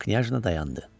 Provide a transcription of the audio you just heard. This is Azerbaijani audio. Knyazna dayandı.